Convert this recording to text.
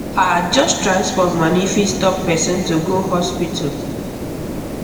ah just transport money fit stop person to go hospital